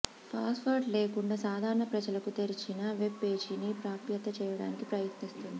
password లేకుండా సాధారణ ప్రజలకు తెరిచిన వెబ్ పేజీని ప్రాప్యత చేయడానికి ప్రయత్నిస్తుంది